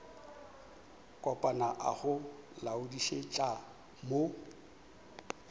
kopana a go laodišetša mo